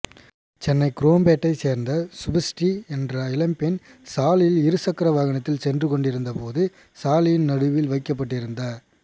சென்னை குரோம்பேட்டையை சேர்ந்த சுபஸ்ரீ என்ற இளம்பெண் சாலையில் இருசக்கர வாகனத்தில் சென்று கொண்டிருந்தபோது சாலையின் நடுவில் வைக்கப்பட்டிருந்த